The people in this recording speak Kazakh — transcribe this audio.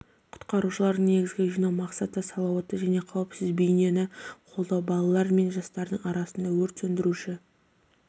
құтқарушылардың негізгі жинау мақсаты салауатты және қауіпсіз бейнені қолдау балалар мен жастардың арасында өрт сөндіруші